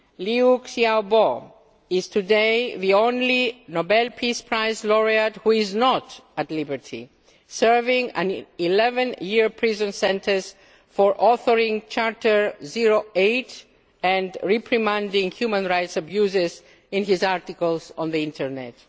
Liu Xiaobo is today the only Nobel Peace Prize laureate who is not at liberty, serving an 11 year prison sentence for authoring Charter 08 and reprimanding human rights abuses in his articles on the internet.